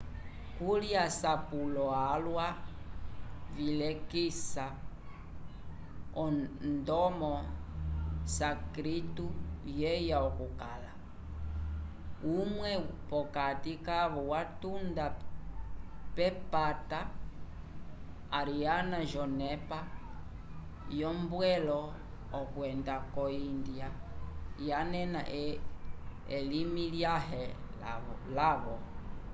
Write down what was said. kuli asapulo alwa vilekisa ndomo o sânscrito yeya okukala umwe p'okati kavo watunda k'epata ariana yonepa yombwelo okwenda ko índia yanena elimi lyãhe lavo